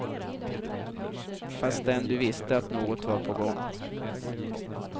Fastän du visste att något var på gång.